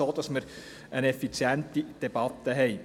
So können wir eine effiziente Debatte führen.